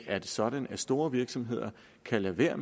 er det sådan at store virksomheder kan lade være